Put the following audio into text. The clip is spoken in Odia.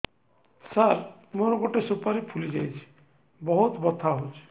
ସାର ମୋର ଗୋଟେ ସୁପାରୀ ଫୁଲିଯାଇଛି ବହୁତ ବଥା ହଉଛି